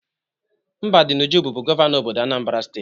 Mbadinuju bụbu gọvanọ obodo Anambra steeti.